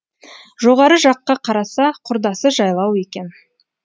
жоғары жаққа қараса құрдасы жайлау екен